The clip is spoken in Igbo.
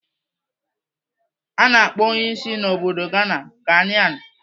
A na-akpọ onye si n'obodo Ghana "Ghanaian."